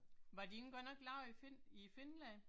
Var de ikke godt nok lavet i Finn i Finland?